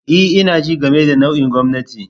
E, ina jin game da nau'in gwamnati.